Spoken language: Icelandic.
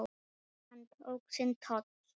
Hann tók sinn toll.